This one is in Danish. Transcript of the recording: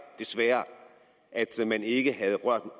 ikke